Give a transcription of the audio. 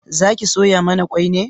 Zaki soya mana kwai ne?